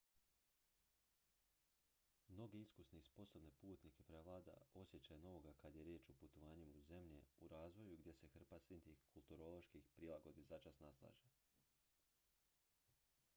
mnoge iskusne i sposobne putnike prevlada osjećaj novoga kad je riječ o putovanjima u zemlje u razvoju gdje se hrpa sitnih kulturoloških prilagodbi začas naslaže